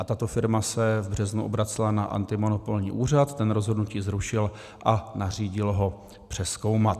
A tato firma se v březnu obracela na antimonopolní úřad, ten rozhodnutí zrušil a nařídil ho přezkoumat.